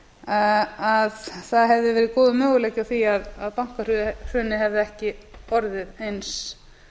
að það hefði verið góður möguleiki á því að bankahrunið hefði ekki orðið eins